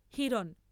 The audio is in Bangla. হিরণ।